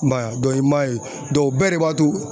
I m'a ye i m'a ye o bɛɛ de b'a to